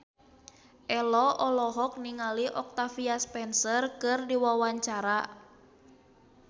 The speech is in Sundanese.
Ello olohok ningali Octavia Spencer keur diwawancara